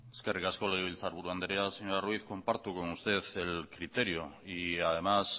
eskerrik asko legebiltzar buru andrea señora ruiz comparto con usted el criterio y además